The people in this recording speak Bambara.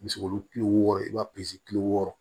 Misi wolo kile wɔɔrɔ i b'a kile wɔɔrɔ